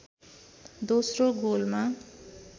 दोस्रो गोलमा